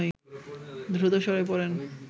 দ্রুত সরে পড়েন